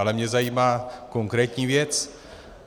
Ale mě zajímá konkrétní věc.